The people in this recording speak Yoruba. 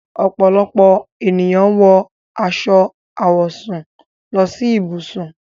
Ọ́pọlọpọ̀ ènìyàn wọ aṣọ àwọ̀sún lọ sí íbùṣùn.